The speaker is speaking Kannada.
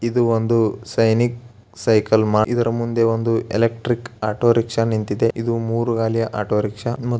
ಇದು ಒಂದು ಸೈನಿಕ ಸೈಕಲ್ ಇದರ ಮುಂದೆ ಒಂದು ಎಲೆಕ್ಟ್ರಿಕ್ ಆಟೋರಿಕ್ಷಾ ನಿಂತಿದೆ ಇದು ಮೂರು ಗಾಲಿಯ ಆಟೋರಿಕ್ಷಾ --